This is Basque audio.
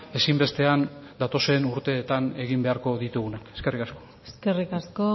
ezinbestean datozen urteetan egin beharko ditugunak eskerrik asko eskerrik asko